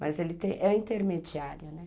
Mas ele é intermediário, né?